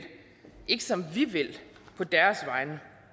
ikke som vi vil på deres vegne